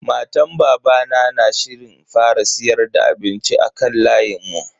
Matan babana na shirin fara siyar da abinci a kan layin mu.